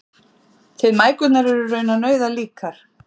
Þið mæðgurnar eruð raunar nauðalíkar